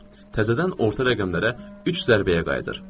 Təzədən orta rəqəmlərə üç zərbəyə qayıdır.